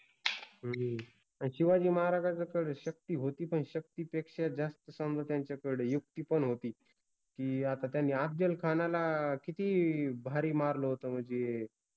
ह्म्म, शिवाजिमहाराजाकड शक्ति होति पन शक्तिपेक्षा जास्त समजा त्यांच्याकडे युक्ति पन होति कि आता त्यानि अफजलखानाला किति भारि मारल होत मनजे